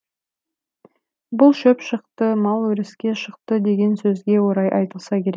бұл шөп шықты мал өріске шықты деген сөзге орай айтылса керек